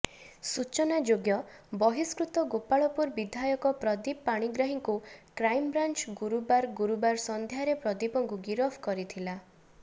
ସୂଚନାଯୋଗ୍ୟ ବହିଷ୍କୃତ ଗୋପାଳପୁର ବିଧାୟକ ପ୍ରଦୀପ ପାଣିଗ୍ରାହୀଙ୍କୁ କ୍ରାଇମବ୍ରାଞ୍ଚ ଗୁରୁବାର ଗୁରୁବାର ସନ୍ଧ୍ୟାରେ ପ୍ରଦୀପଙ୍କୁ ଗିରଫ କରିଥିଲା